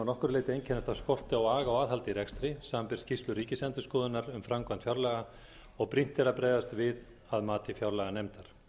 nokkru leyti einkennast af skorti á aga og aðhaldi í rekstri samanber skýrslur ríkisendurskoðunar um framkvæmd fjárlaga og brýnt er að bregðast við að mati fjárlaganefndar